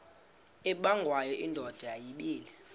ubengwayo indoda yayibile